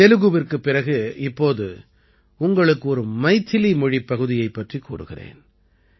தெலுகுவிற்குப் பிறகு இப்போது உங்களுக்கு ஒரு மைதிலி மொழிப் பகுதியைப் பற்றிக் கூறுகிறேன்